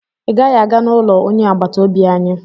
ị gaghị aga n'ụlọ onye agbata obi anyị!